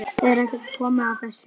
Er ekki komið að þessu?